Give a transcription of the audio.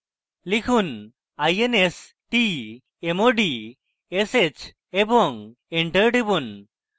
লিখুন: instmodsh এবং enter টিপুন